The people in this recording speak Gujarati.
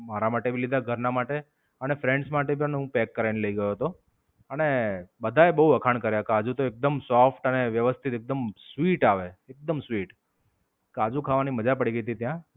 મારા માટે ભી લીધા ઘર ના માટે અને friends માટે તો એને હું પેક કરાવી ને લઇ ગયો ગયો. અને, બધા એ બોવ વખાણ કર્યા. કાજુ તો એકદમ soft અને અને વ્યવસ્થિત એકદમ sweet આવે. એકદમ sweet